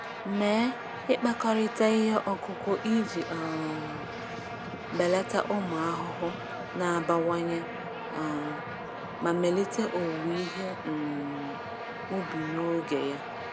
Mee ịkpakọrịta ihe ọkụkụ iji um belata ụmụ ahụhụ na-abawanye um ma melite owuwe ihe um ubi n’oge ya.